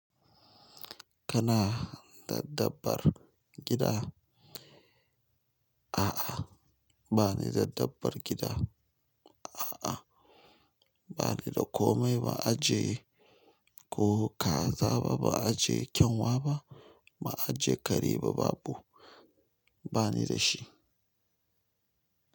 Kana dabbabar gida? A'a, ba ni dabbabar gida. A'a, ba ni da komai. Ba aje ko kaza ba, ba aje kyanwa ba, ba aje kare ba, babu. Ba ni da shi.